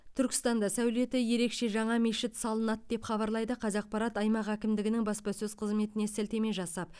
түркістанда сәулеті ерекше жаңа мешіт салынады деп хабарлайды қазақпарат аймақ әкімдігінің баспасөз қызметіне сілтеме жасап